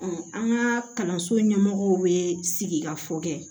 an ka kalanso ɲɛmɔgɔw bɛ sigi ka fɔ kɛ